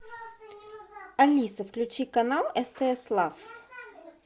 алиса включи канал стс лав